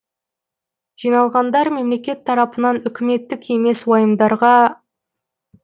жиналғандар мемлекет тарапынан үкіметтік емес уайымдарға